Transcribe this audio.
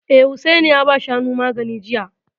Eh, Hussaini ya ba Shanun magani jiya